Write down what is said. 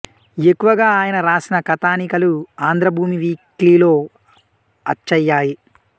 ఎక్కువగా ఆయన రాసిన కథానికలు ఆంధ్ర భూమి వీక్లీలో అచ్చయ్యాయి